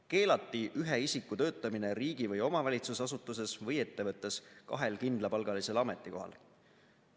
Keelati ühe isiku töötamine riigi- või omavalitsusasutuses või ettevõttes kahel kindlapalgalisel ametikohal.